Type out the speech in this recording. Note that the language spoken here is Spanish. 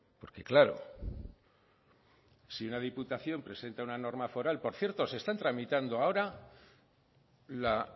porque claro si una diputación presenta una norma foral por cierto se están tramitando ahora la